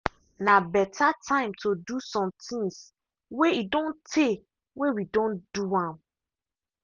na beta time to do somethings way e don tay way we don do am.